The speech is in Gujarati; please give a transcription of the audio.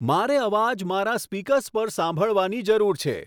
મારે અવાજ મારા સ્પીકર્સ પર સાંભળવાની જરૂર છે